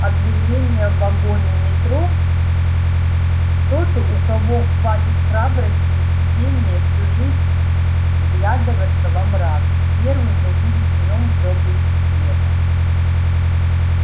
объявление в вагоне метро тот у кого хватит храбрости и терпения всю жизнь вглядываться во мрак первым увидит в нём проблеск света